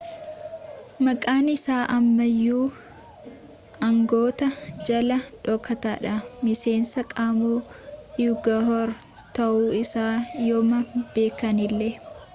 maqaan isaa amma iyyuu aangawoota jalaa dhokataadha miseensa qomoo uighur ta'uu isaa yooma beekanillee